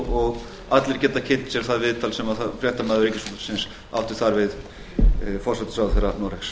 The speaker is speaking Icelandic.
og allir geta kynnt sér það viðtal sem fréttamaður ríkisútvarpsins átti þar við forsætisráðherra noregs